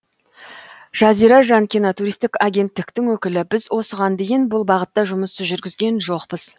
жазира жанкина туристік агенттіктің өкілі біз осыған дейін бұл бағытта жұмыс жүргізген жоқпыз